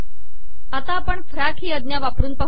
आता आपण फॅक ही आजा वापर